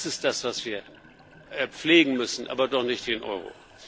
Das ist das, was wir pflegen müssen aber doch nicht den Euro.